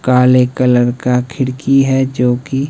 काले कलर का खिड़की है जोकि--